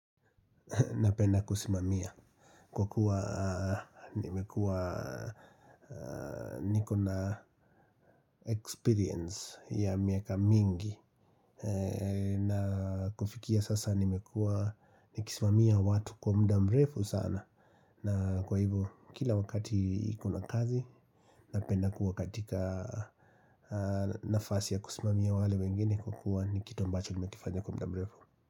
Napenda kusimamia kwa kuwa nimekua niko na experience ya miaka mingi na kufikia sasa nimekua nikisimamia watu kwa muda mrefu sana na kwa hivo kila wakati iko na kazi napenda kuwa katika nafasi ya kusimamia wale wengine kwa kuwa ni kitu ambacho nimekifanya kwa muda mrefu.